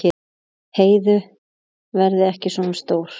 Heiðu verði ekki svona stór.